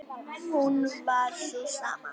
hún var sú sama.